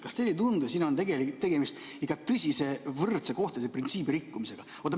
Kas teile ei tundu, et siin on tegemist tõsise võrdse kohtlemise printsiibi rikkumisega?